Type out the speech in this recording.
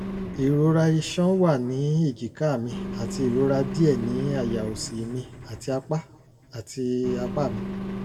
ìrora iṣan wà ní èjìká mi àti ìrora díẹ̀ ní àyà òsì mi àti apá àti apá mi